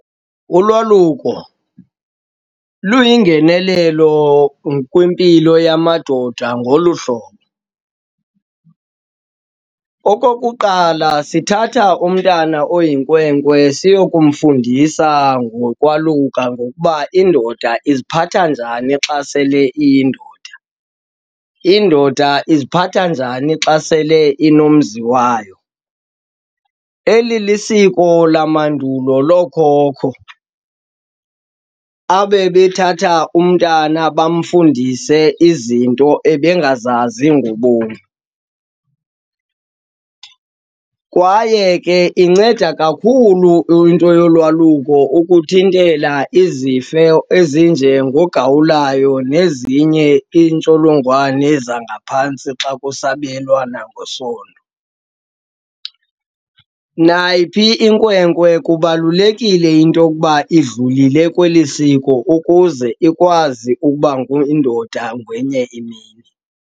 Ulwaluko luyingenelelo kwimpilo yamadoda ngolu hlobo, okokuqala sithatha umntana oyinkwenkwe siyokumfundisana ngokwaluka ngokuba indoda iziphatha njani xa sele iyindoda, indoda iziphatha njani xa sele inomzi wayo. Eli lisiko lamandulo lookhokho abebethatha umntana bamfundise izinto ebengazazi ngobomi. Kwaye ke inceda kakhulu into yolwaluko ukuthintela izifo ezinjengogawulayo nezinye intsholongwane zangaphantsi xa kusabelwana ngesondo. Nayiphi inkwenkwe kubalulekile into yokuba idlulileyo kweli siko ukuze ikwazi ukuba indoda ngenye imini.